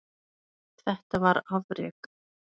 Þetta var afrek.